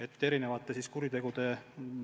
Eri kuritegude puhul võiks alati olla üks partner.